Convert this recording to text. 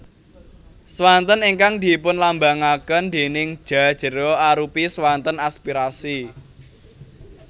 Swanten ingkang dipunlambangaken déning Ja jera arupi swanten aspirasi